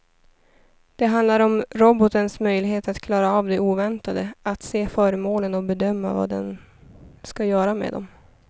Det handlar om robotens möjlighet att klara av det oväntade, att se föremålen och bedöma vad den ska göra med dem.